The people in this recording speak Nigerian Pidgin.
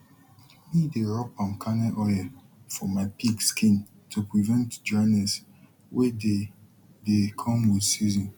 mi dey rub palm kernal oil for my pig skin to prevent dryness wey dey dey come with season